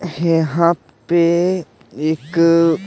यहाँ पे एक --